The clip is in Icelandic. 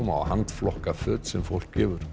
og handflokka föt sem fólk gefur